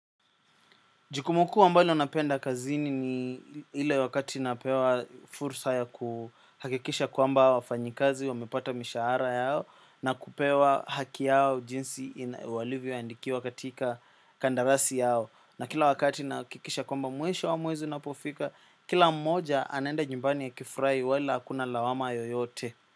Jukumu kuu ambalo napenda kazini ni ile wakati napewa fursa ya kuhakikisha kwamba wafanyikazi wamepata mishahara yao na kupewa haki yao jinsi walivyoandikiwa katika kandarasi yao na kila wakati nahakikisha kwamba mwisho wa mwezi unapofika kila mmoja anaenda nyumbani akifurahi wala hakuna lawama yoyote.